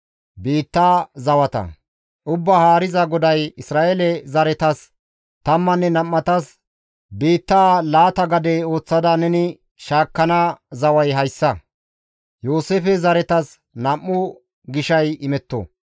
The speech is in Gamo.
Ubbaa Haariza GODAY, «Isra7eele zaretas tammanne nam7atas biitta laata gade ooththada neni shaakkana zaway hayssa. Yooseefe zaretas nam7u gishay imetto.